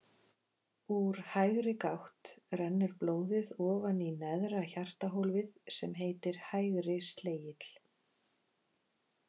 Úr hægri gátt rennur blóðið ofan í neðra hjartahólfið sem heitir hægri slegill.